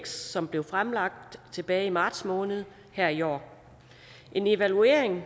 som blev fremlagt tilbage i marts måned her i år evalueringen